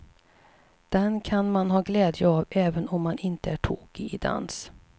Den kan man ha glädje av även om man inte är tokig i dans.